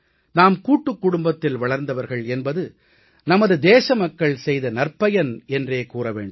நாம் கூட்டுக் குடும்பத்தில் வளர்ந்தவர்கள் என்பது நமது தேசமக்கள் செய்த நற்பயன் என்றே கூற வேண்டும்